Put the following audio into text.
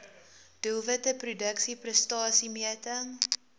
doelwitte produksie prestasiemeting